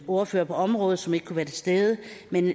ordfører på området som ikke kunne være til stede